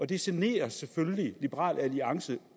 det generer selvfølgelig liberal alliance